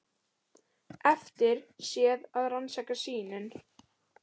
Eftir sé að rannsaka sýnin.